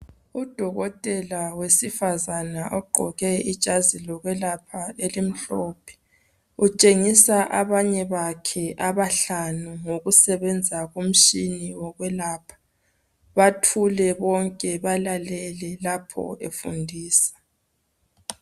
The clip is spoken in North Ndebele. Udokotela wesifazana ogqoke ijazi lokwelapha elimhlophe utshengisa abanye bakhe abahlanu ngokusebenza komtshini wokwelapha bathule bonke balalele lapho efundisa.